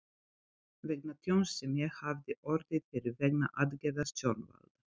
vegna tjóns sem ég hafði orðið fyrir vegna aðgerða stjórnvalda.